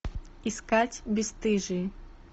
искать бесстыжие